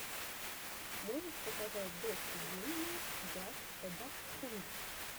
можешь показать докси дин нот джаст э даксхунд